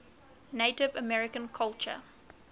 native american culture